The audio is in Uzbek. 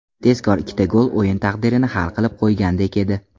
Tezkor ikkita gol o‘yin taqdirini hal qilib qo‘ygandek edi.